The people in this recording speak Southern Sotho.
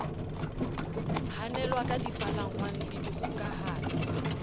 hanelwa ka dipalangwang le dikgokahanyo